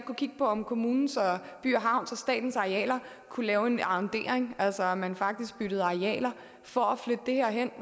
kigge på om kommunens og by og havns og statens arealer kunne lave en arrondering altså at man faktisk byttede arealer for at flytte det her hen